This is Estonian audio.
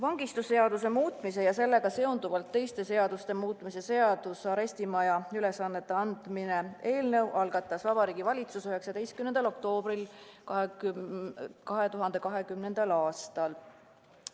Vangistusseaduse muutmise ja sellega seonduvalt teiste seaduste muutmise seaduse eelnõu algatas Vabariigi Valitsus 19. oktoobril 2020. aastal.